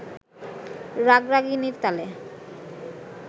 রাগরাগিনীর তালে